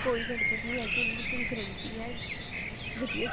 ਕੋਈ ਗੜਬੜ ਨੀ ਹੈਗੀ ਉਹਨਾ ਦੀ ਪੂਰੀ guarantee ਹੈ ਮਤਲਬ